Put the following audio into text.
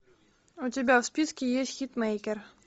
у тебя в списке есть хитмейкер